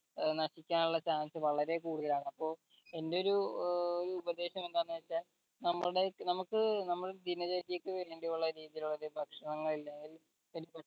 ഏർ നശിക്കാനുള്ള chance വളരെ കൂടുതലാണ് അപ്പോ എന്റെ ഒരു ഏർ ഒരു ഉപദേശം എന്താണെന്ന് വെച്ചാൽ നമ്മടെ നമുക്ക് നമ്മടെ ദിനചര്യക്ക് വേണ്ടിയുള്ള രീതിയിലുള്ള ഒരു ഭക്ഷണം കഴിക്കാണെങ്കിൽ